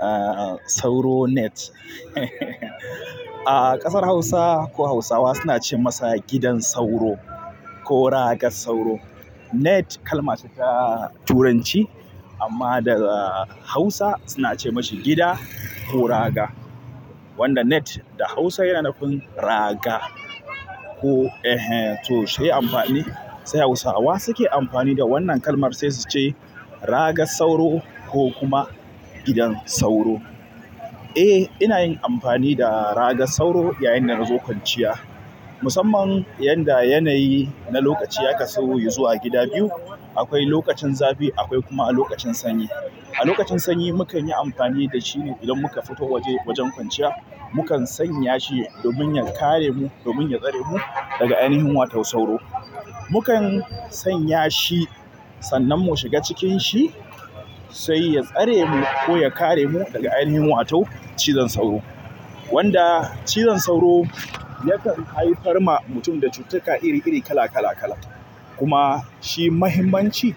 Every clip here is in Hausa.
Ah sauro net. A ƙasar Hausa ko Hausawa suna ce masa gidan sauro ko ragar sauro. Net kalma ce ta Turanci amma da Hausa suna ce mashi gida ko raga. Wanda net da Hausa yana nufin raga. Ko, eh hen to shi ai amfani sai Hausawa suke amfani da wannan kalmar sai su ce ragar sauro ko kuma gidan sauro. Eh ina yin amfani da ragar sauro yayinda nazo kwanciya. Musamman yanda yanayi na lokaci ya kasu izuwa gida biyu. Akwai lokacin zafi akwai kuma lokacin sanyi. A lokacin sanyi mukan yi amfani da shi ne idan muka fita waje wajen kwanciya. Mukan sanya shi domin ya kare mu, domin ya tsare mu daga ainihin wato sauro. Mukam sanyaci sannan mushiga cikinci sai ya tsaremu koh yakare mu daga ainihi wato cijon sauro wanda cizon sauro yakan haifar ma mutum da cututtuka iri iri, kala kala kala. Kuma shi mahimmanci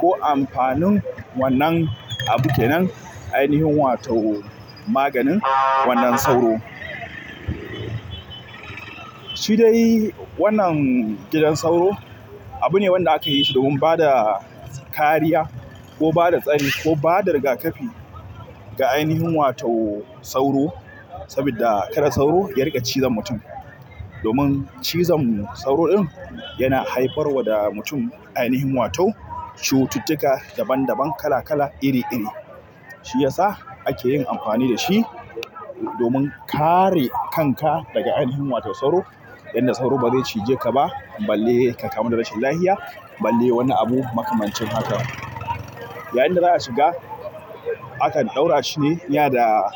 ko amfanin wannan abu kenan ainihin wato maganin wannan sauro. Shi dai wannan gidan sauro abu ne wanda aka yi shi domin bada kariya ko bada tsari ko bada rigakafi ga ainihin wato sauro. Saboda kada sauro ya riƙe cizon mutum. Domin cizon sauro ɗin yana haifarwa da mutum ainihin wato cututtuka daban daban, kala kala, iri iri. Shi yasa ake yin amfani da shi domin kare kanka daga ainihin wato sauro. Yanda sauro bazai cijekaba balle kakamu da rashin lahiya balle woni abu makamancin haka yayinda za a shiga, akan ɗaura shi ne iya da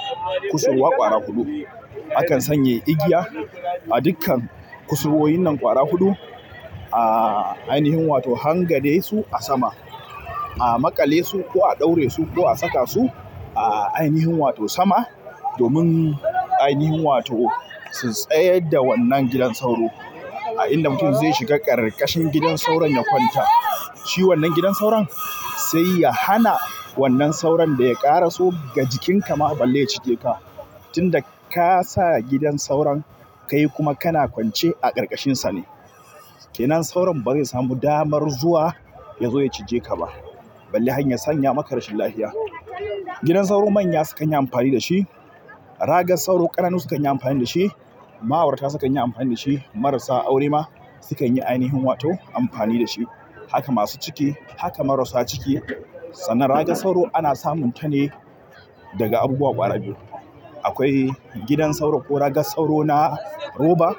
kusurwa ƙwara huɗu. Akan sanya igiya a dukkan kusurwoyin nan ƙwara huɗu. Ah ainihin wato hangade su a sama. A maƙale su ko a ɗaura su ko a saka su a ainihin wato sama. Domin ainihin wato su tsayar da wannan gidan sauro. A inda mutum zai shiga ƙarƙashin gidan sauron ya kwanta. Shi wannan gidan sauron sai ya hana wannan sauron da ya ƙaraso ga jikinka ma balle ya cije ka. Tun da ka sa gidan sauron, kai kuma kana kwance a ƙarƙashin sa ne. Kenan sauron bai samu damar zuwa ya zo ya cije ka ba. Balle hanyar sanya maka rashin lafiya. Gidan sauro manya sukan yi amfani da shi. Ragar sauro ƙananu sukan yi amfani da shi. Ma'aurata sukan yi amfani da shi. Marasa aure ma sukan yi ainihin wato amfani da shi. Haka masu ciki, haka marasa ciki. Sannan ragar sauro ana samun ta ne daga abubuwa ƙwara biyu. Akwai gidan sauro ko ragar sauro na roba.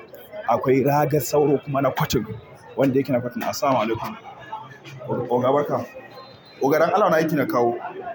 Akwai ragar sauro kuma na kwatin. Wanda yake na kwatin assalamu alaikum oga barka oga du Allah wani aiki na kawo.